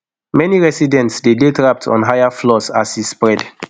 many residents dey dey trapped on higher floors as e spread